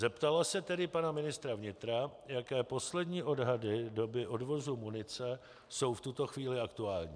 Zeptala se tedy pana ministra vnitra, jaké poslední odhady doby odvozu munice jsou v tuto chvíli aktuální.